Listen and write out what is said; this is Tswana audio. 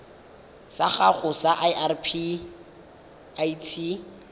sa gago sa irp it